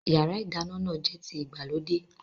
Yàrá-ìdáná náà jẹ́ ti ìgbàlódé